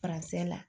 la